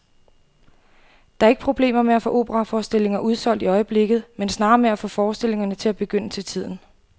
Der er ikke problemer med at få operaforestillinger udsolgt i øjeblikket, men snarere med at få forestillingerne til at begynde til tiden.